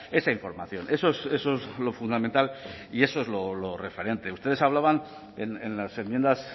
esa información eso es lo fundamental y eso es lo referente ustedes hablaban en las enmiendas